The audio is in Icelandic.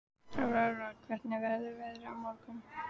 Aurora, hvernig verður veðrið á morgun?